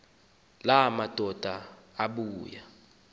la madoda ebuya